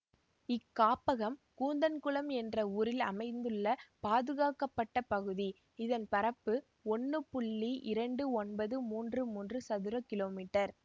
இக்காப்பகம் கூந்தன்குளம் என்ற ஊரில் அமைந்துள்ள பாதுகாக்கப்பட்ட பகுதி இதன் பரப்பு ஒன்னு இரண்டு ஒன்பது மூன்று மூன்று சதுற கிலோமீட்டர்